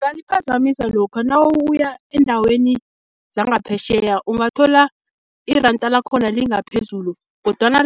Kanti iphazamisa lokha nawuya eendaweni zangaphetjheya, ungathola iranda lakhona lingaphezulu, kodwana